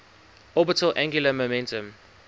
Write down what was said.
orbital angular momentum